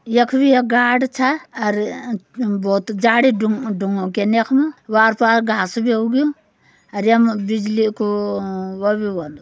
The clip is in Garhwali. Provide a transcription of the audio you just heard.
यख वि एक गाड़ छ अर अ-अ बौत जाड़ि डुंग-डुंगों केन यख मु। वार पार घास बि उग्युं। अर ये म बिजली कु अ व बि वोंदु।